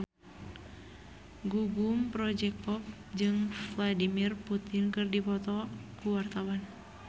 Gugum Project Pop jeung Vladimir Putin keur dipoto ku wartawan